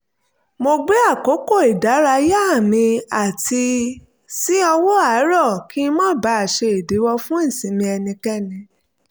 mo gbé àkókò ìdárayá mi sí ọwọ́ àárọ̀ kí n má baà ṣe ìdíwọ́ fún ìsinmi ẹnikẹ́ni